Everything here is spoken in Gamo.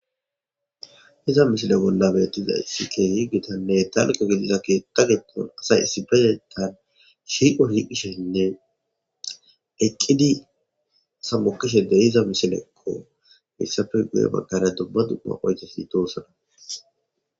Iza mishile bolla beettiza issikehi gitanne talqo gidiza keetka getton asay issiba yetan shiiqo hiqishenne eqqidi sammokishe de iza mishilekko hissafe guye bagkara dubba du'a oyte siitosana